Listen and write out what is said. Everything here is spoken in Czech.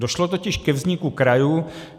Došlo totiž ke vzniku krajů.